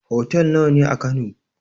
Hotel nawa ne a kano?